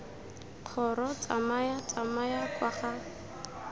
kgoro tsamaya tsamaya kwa ga